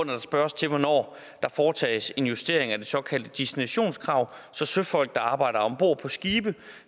der spørges til hvornår der foretages en justering af det såkaldte destinationskrav så søfolk der arbejder om bord på skibe